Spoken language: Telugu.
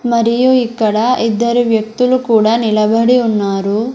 మరియు ఇక్కడ ఇద్దరు వ్యక్తులు కూడా నిలబడి ఉన్నారు.